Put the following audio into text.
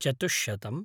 चतुष्शतम्